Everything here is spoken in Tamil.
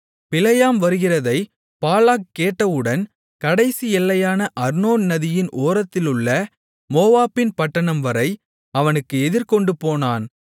பிலேயாம் வருகிறதைப் பாலாக் கேட்டவுடன் கடைசி எல்லையான அர்னோன் நதியின் ஓரத்திலுள்ள மோவாபின் பட்டணம்வரை அவனுக்கு எதிர்கொண்டு போனான்